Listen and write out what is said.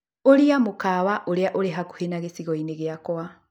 Ũria mũkawa ũrĩa ũrĩ hakuhĩ na gĩcigo-inĩ gĩakwa